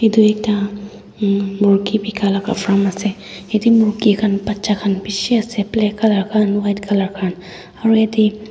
edu ekta murki bikai laka farm ase yatae murki khan bacha khan bishi ase black colour khan white colour khan aro yate--